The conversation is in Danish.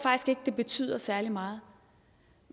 det betyder særlig meget